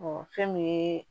fɛn min ye